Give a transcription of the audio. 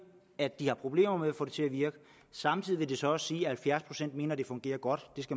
at de har problemer med at få det til at virke samtidig vil det så også sige at halvfjerds procent mener at det fungerer godt